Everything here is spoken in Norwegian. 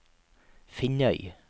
Finnøy